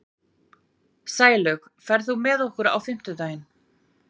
Sælaug, ferð þú með okkur á fimmtudaginn?